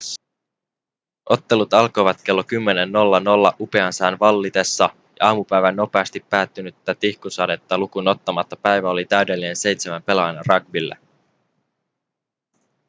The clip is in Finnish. ottelut alkoivat kello 10.00 upean sään vallitessa ja aamupäivän nopeasti päättynyttä tihkusadetta lukuun ottamatta päivä oli täydellinen seitsemän pelaajan rugbylle